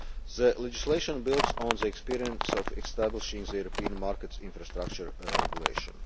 once. The legislation builds on the experience of establishing the European Market Infrastructure Regulation.